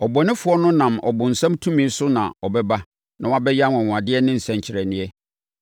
Ɔbɔnefoɔ no nam ɔbonsam tumi so na ɛbɛba na wabɛyɛ anwanwadeɛ ne nsɛnkyerɛnneɛ,